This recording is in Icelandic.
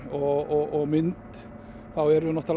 og mynd verðum við